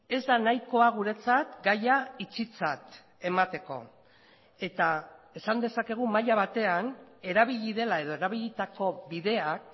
ez da nahikoa guretzat gaia itxitzat emateko eta esan dezakegu maila batean erabili dela edo erabilitako bideak